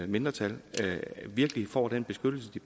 mindretal virkelig får den beskyttelse de